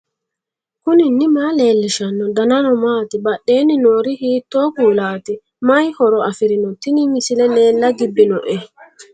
knuni maa leellishanno ? danano maati ? badheenni noori hiitto kuulaati ? mayi horo afirino ? tini misile leella gibbinoe